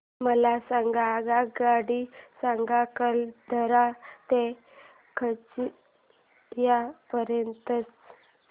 मला आगगाडी सांगा अकलतरा ते खरसिया पर्यंत च्या